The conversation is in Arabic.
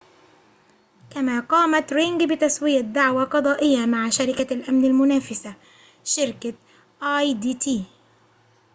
كما قامت رينج بتسوية دعوى قضائية مع شركة الأمن المنافسة شركة آي دي تي